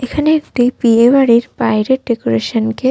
এখানে একটি বিয়ে বাড়ির বাইরের ডেকোরেশন কে --